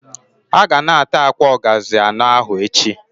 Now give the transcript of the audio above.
Ha ga na- ata akwa ogazi ano ahu echi.